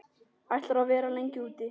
Ætlarðu að vera lengi úti?